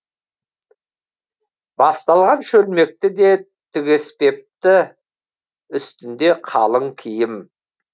басталған шөлмекті де түгеспепті үстінде қалың киім